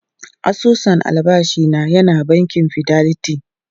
Asusun albashi na yana bankin Fidelity.